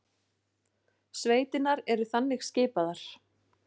Sveitirnar eru þannig skipaðar